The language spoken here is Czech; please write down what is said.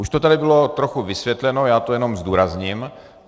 Už to tady bylo trochu vysvětleno, já to jenom zdůrazním.